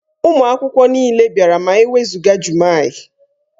Ụmụ akwụkwọ niile bịara ma e wezụga Jummai.